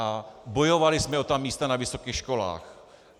A bojovali jsme o ta místa na vysokých školách.